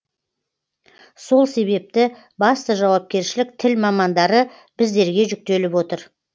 сол себепті басты жауапкершілік тіл мамандары біздерге жүктеліп отыр